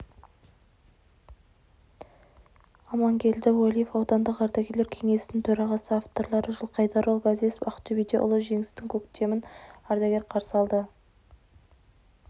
амангелді уәлиев аудандық ардагерлер кеңесінің төрағасы авторлары жылқайдарұлы ғазезов ақтөбеде ұлы жеңістің көктемін ардагер қарсы алды